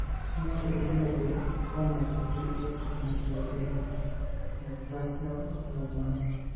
Kainyio irbulabul onaapuku eSpinocerebellar eataxia ong'uan?